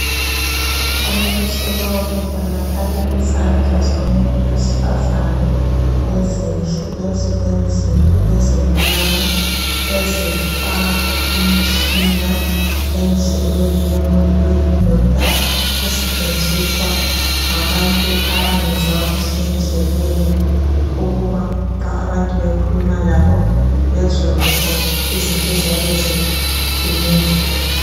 Imfanekiso lo kubonakala izandla zomuntu wesifazana ezinhle ezilenzipho ezimnyama ezifaka umtshina endlebeni yomuntu oyindoda osetshenziswa ngabantu abangezwa kuhle endlebeni ukuba nxa abantu bekhuluma labo bezwe kahle izinto eziyabe zikhulunywa.